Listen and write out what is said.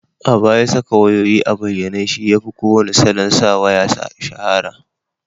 A baya, saka wayayoyi a bayyane shi yafi kowane salon sa waya shahara